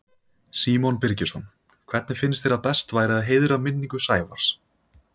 Símon Birgisson: Hvernig finnst þér að best væri að heiðra minningu Sævars?